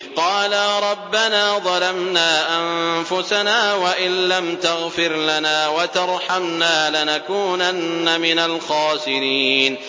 قَالَا رَبَّنَا ظَلَمْنَا أَنفُسَنَا وَإِن لَّمْ تَغْفِرْ لَنَا وَتَرْحَمْنَا لَنَكُونَنَّ مِنَ الْخَاسِرِينَ